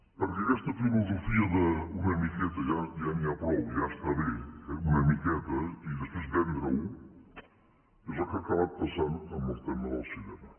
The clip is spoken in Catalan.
perquè aquesta filosofia de una miqueta ja n’hi ha prou ja està bé eh una miqueta i després vendre ho és el que ha acabat passant amb el tema del cinema